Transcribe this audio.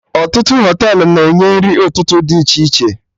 Ọtụtụ Họtelụ na-enye nri ụtụtụ dị iche iche